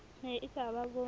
ne e ka ba bo